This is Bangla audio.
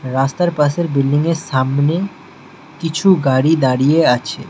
রাস্তার পাশের বিল্ডিংয়ের সামনে কিছু গাড়ি দাঁড়িয়ে আছে।